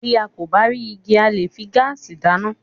Bí a kò bá rí igi, a leè fi gaasi dá iná.